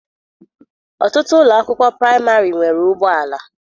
Ọtụtụ ụlọ akwụkwọ praịmarị nwere ụgbọala.